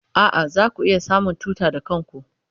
A'a, zaku iya samun tuta da kanku.